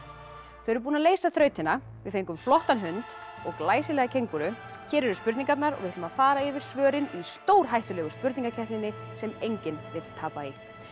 þau eru búin að leysa þrautina við fengum flottan hund og glæsilega kengúru hér eru spurningarnar og við ætlum að fara yfir svörin í stórhættulegu spurningakeppninni sem enginn vill tapa í